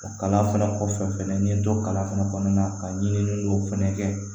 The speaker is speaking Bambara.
O kalan fana kɔfɛ fɛnɛ n ye n to kalan fana kɔnɔna na ka ɲini don fɛnɛ kɛ